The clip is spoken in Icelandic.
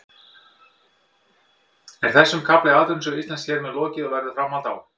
Er þessum kafla í atvinnusögu Íslands hér með lokið eða verður framhald á?